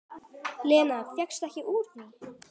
Lena fékkst ekki úr því.